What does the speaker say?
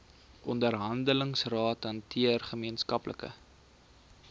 onderhandelingsrade hanteer gemeenskaplike